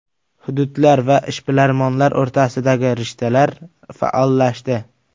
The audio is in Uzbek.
Hududlar va ishbilarmonlar o‘rtasidagi rishtalar faollashdi.